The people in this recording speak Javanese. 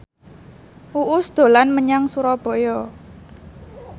Uus dolan menyang Surabaya